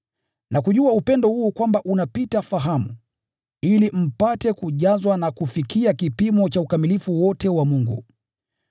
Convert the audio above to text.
na kujua upendo huu unaopita fahamu, ili mpate kujazwa na kufikia kipimo cha ukamilifu wote wa Mungu.